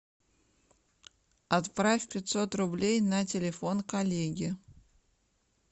отправь пятьсот рублей на телефон коллеге